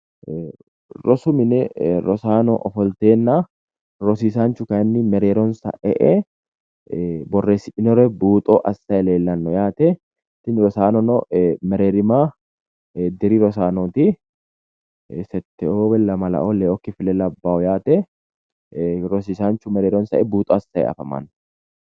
Rosu mine rosaano ofolteenna rosiisaanchu kayinni mereeronsa e''e borreessidhinire buuxo assayi leellawo yaate. Tini rosaanono mereerima diri rosaanooti setteoo lamalaoo leeoo kifile labbawo yaate rosiisaanchu mereeronsa e''e buuxo assayi afamanno.